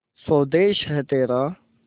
स्वदेस है तेरा